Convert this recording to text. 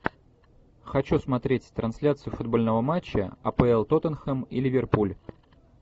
хочу смотреть трансляцию футбольного матча апл тоттенхэм и ливерпуль